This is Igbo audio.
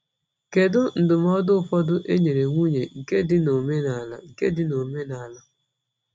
Kedu ndụmọdụ ụfọdụ e nyere nwunye nke dị n’omenala? nke dị n’omenala?